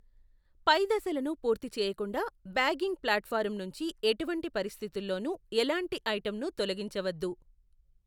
పై దశలను పూర్తి చేయకుండా ,బ్యాగింగ్ ఫ్లాట్ఫారం నుంచి ఎటువంటి పరిస్థితుల్లోనూ ఎలాంటి ఐటమ్ని తొలగించవద్దు.